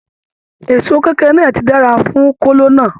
Èsó kekere náà tí dára fún kolo náà.